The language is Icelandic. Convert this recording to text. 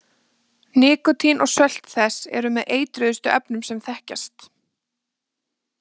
Nikótín og sölt þess eru með eitruðustu efnum sem þekkjast.